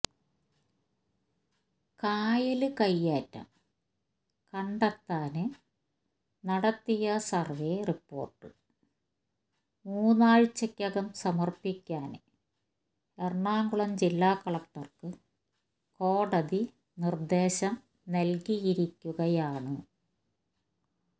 കായല് കയ്യേറ്റം കണ്ടെത്താന് നടത്തിയ സര്വേ റിപ്പോര്ട്ട് മൂന്നാഴ്ച്ചയ്ക്കകം സമര്പ്പിക്കാന് എറണാകുളം ജില്ല കളക്ടര്ക്ക് കോടതി നിര്ദേശം നല്കിയിരിക്കുകയാണ്